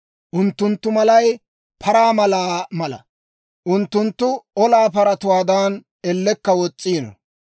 Unttunttu malay paraa malaa mala; unttunttu olaa paratuwaadan, ellekka wos's'iino.